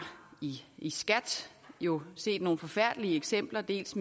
jo i set nogle forfærdelige eksempler blandt